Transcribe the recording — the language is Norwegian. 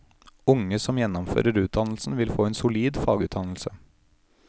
Unge som gjennomfører utdannelsen, vil få en solid fagutdannelse.